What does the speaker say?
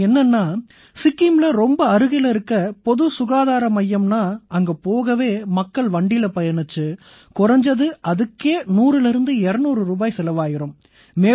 அது என்னென்னா சிக்கிம்ல ரொம்ப அருகில இருக்கற பொதுச் சுகாதார மையம்னா அங்க போகவே மக்கள் வண்டியில பயணிச்சு குறைஞ்சது அதுக்கே 100200 ரூபாய் செலவாயிரும்